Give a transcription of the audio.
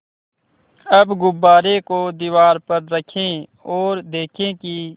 अब गुब्बारे को दीवार पर रखें ओर देखें कि